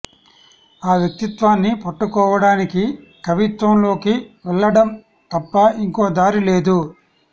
ఆ వ్యక్తిత్వాన్ని పట్టుకోవడానికి కవిత్వం లోకి వెళ్ళడం తప్ప ఇంకో దారి లేదు